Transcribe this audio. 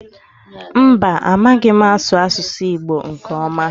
Mba, amaghị m asụ asụsụ Igbo nke ọma.